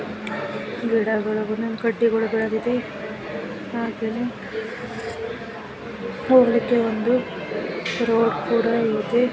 ಗಿಡಗಳು ಹುಲ್ಲಿನ್ ಕಡ್ಡಿಗಳು ಬೆಳೆದಿದೆ ಹಾಗೆಯೇ ಹೋಗಲಿಕ್ಕೆ ಒಂದು ರೋಡ್ ಕೂಡ ಇದೆ.